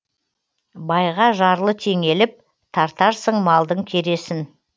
байға жарлы теңеліп тартарсың малдың кересін